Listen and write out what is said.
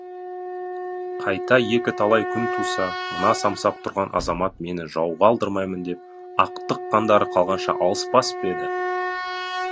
қайта екі талай күн туса мына самсап тұрған азамат мені жауға алдырмаймын деп ақтық қандары қалғанша алыспас па еді